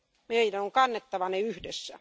Meidän on kannettava ne yhdessä.